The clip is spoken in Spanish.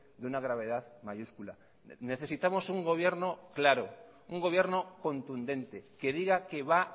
de una gravedad mayúscula necesitamos un gobierno claro un gobierno contundente que diga que va